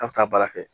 A bɛ taa baara kɛ